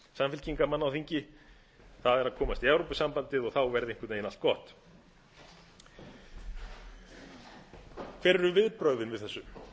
samfylkingarmanna á þingi það er að komast í evrópusambandið og þá verði einhvern veginn allt gott hver eru viðbrögðin við þessu